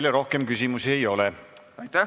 Teile rohkem küsimusi ei ole.